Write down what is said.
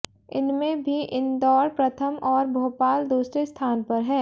इनमें भी इंदौर प्रथम और भोपाल दूसरे स्थान पर है